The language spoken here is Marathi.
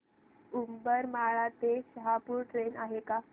उंबरमाळी ते शहापूर ट्रेन आहे का